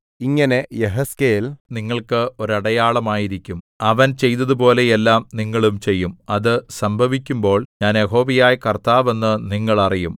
ഇങ്ങനെ യെഹെസ്കേൽ നിങ്ങൾക്ക് ഒരടയാളം ആയിരിക്കും അവൻ ചെയ്തതുപോലെ എല്ലാം നിങ്ങളും ചെയ്യും അത് സംഭവിക്കുമ്പോൾ ഞാൻ യഹോവയായ കർത്താവ് എന്നു നിങ്ങൾ അറിയും